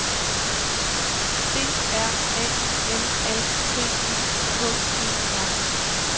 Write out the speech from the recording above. D R A M A T I K E R